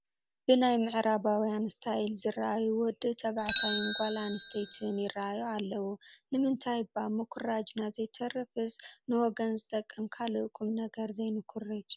ብናይ ምዕራባውያን ስታይል ዝርአዩ ወዲ ተባዕታይን ጓል ኣነስተይትን ይርአዩ ኣለዉ፡፡ ንምንታይ እባ ምኹራጅና ዘይተረፈስ ንወገን ዝጠቅም ካልእ ቁም ነገር ዘይንኹርጅ፡፡